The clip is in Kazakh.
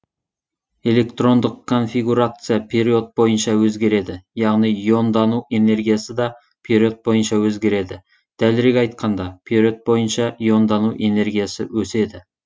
электрондық конфигурация период бойынша өзгереді яғни иондану энергиясы да период бойынша өзгереді дәлірек айтқанда период бойынша иондану энергиясы өседі